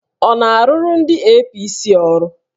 Ọ na-arụrụ ndị APC ọrụ?